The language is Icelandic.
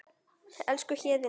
Elsku Héðinn minn.